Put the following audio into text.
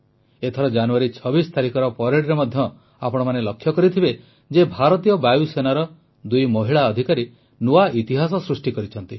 ଏଥର ଜାନୁଆରୀ 26 ତାରିଖର ପରେଡ୍ରେ ମଧ୍ୟ ଆପଣମାନେ ଲକ୍ଷ୍ୟ କରିଥିବେ ଯେ ଭାରତୀୟ ବାୟୁସେନାର ଦୁଇ ମହିଳା ଅଧିକାରୀ ନୂଆ ଇତିହାସ ସୃଷ୍ଟି କରିଛନ୍ତି